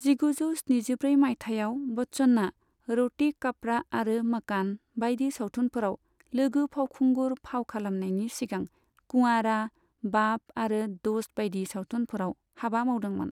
जिगुजौ स्निजिब्रै माइथायाव बच्चनआ रोटी कपड़ा आरो मकान बायदि सावथुनफोराव लोगो फावखुंगुर फाव खालामनायनि सिगां कुवारा, बाप आरो दोस्त बायदि सावथुनफोराव हाबा मावदोंमोन।